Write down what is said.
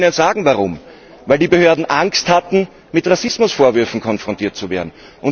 Ich kann Ihnen sagen, warum Weil die Behörden Angst hatten, mit Rassismusvorwürfen konfrontiert zu werden.